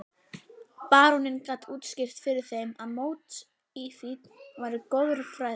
Baróninn gat útskýrt fyrir þeim að mótífin væru goðfræðileg.